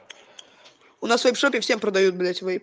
у нас в вейп шопе всем продают блять вейп